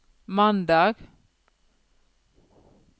mandag